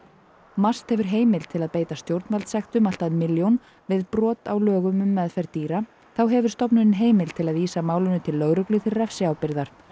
MAST hefur heimild til að beita stjórnvaldssektum allt að milljón við brot á lögum um meðferð dýra þá hefur stofnunin heimild til að vísa málinu til lögreglu til refsiábyrgðar